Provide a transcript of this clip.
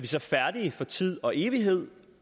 så færdige for tid og evighed